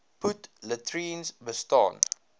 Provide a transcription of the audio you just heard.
put latrines bestaan